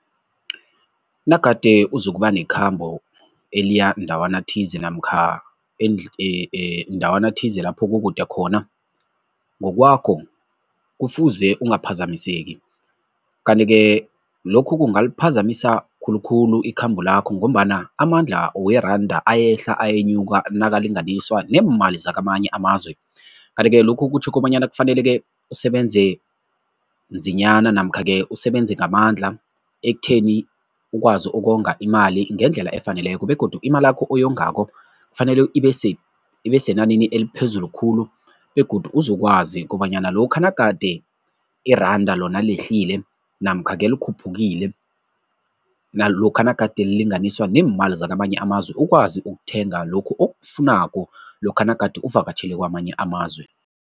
Nagade uzokuba nekhambo eliya ndawana thize namkha ndawana thize lapho kukude khona, ngokwakho kufuze ungaphazamiseki, kanti-ke lokhu kungaliphazamisa khulukhulu ikhambo lakho ngombana amandla weranda ayehla ayenyuka nakalinganiswa nemali zakamanye amazwe kanti-ke lokhu kutjho kobanyana kufanele-ke sebenze nzinyana namkha-ke usebenze ngamandla ekutheni ukwazi ukonga imali ngendlela efaneleko begodu imalakho oyongako kufanele ibesenanini eliphezulu khulu begodu uzokwazi kobanyana lokha nagade iranda lona lehlile namkha-ke likhuphukile nalokha nagade lilinganiswa neemali zakamanye amazwe ukwazi ukuthenga lokhu okufunako lokha nagade uvakatjhele kwamanye amazwe.